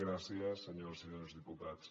gràcies senyores i senyors diputats